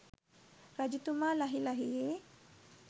රජතුමා ලහි ලහියේ